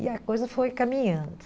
E a coisa foi caminhando.